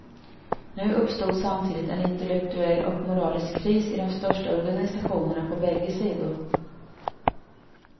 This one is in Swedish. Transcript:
Nu uppstod samtidigt en intellektuell och moralisk kris i de största organisationerna på bägge sidor.